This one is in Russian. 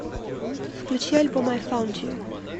включи альбом ай фаунд ю